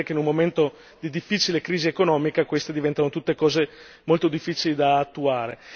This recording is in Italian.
Ma è evidente che in un momento di difficile crisi economica queste diventano cose molto difficili da attuare